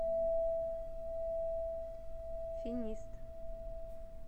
финист